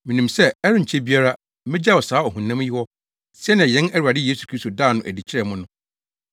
Minim sɛ ɛrenkyɛ biara megyaw saa ɔhonam yi hɔ sɛnea yɛn Awurade Yesu Kristo daa no adi kyerɛɛ me no.